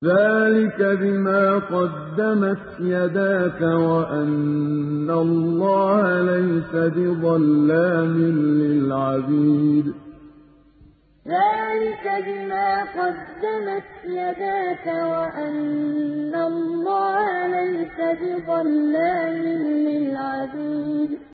ذَٰلِكَ بِمَا قَدَّمَتْ يَدَاكَ وَأَنَّ اللَّهَ لَيْسَ بِظَلَّامٍ لِّلْعَبِيدِ ذَٰلِكَ بِمَا قَدَّمَتْ يَدَاكَ وَأَنَّ اللَّهَ لَيْسَ بِظَلَّامٍ لِّلْعَبِيدِ